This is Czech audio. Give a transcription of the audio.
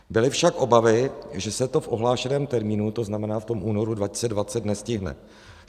Byly však obavy, že se to v ohlášeném termínu, to znamená v tom únoru 2020, nestihne.